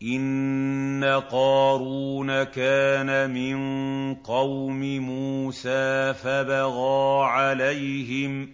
۞ إِنَّ قَارُونَ كَانَ مِن قَوْمِ مُوسَىٰ فَبَغَىٰ عَلَيْهِمْ ۖ